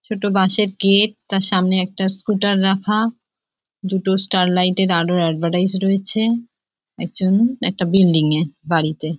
ছোট বাঁশের গেট তার সামনে একটা স্কুটার রাখা দুটো স্টারলাইট এর আলোর অ্যাডভার্টাইজ রয়েছে একজন একটা বিল্ডিং এ বাড়িতে।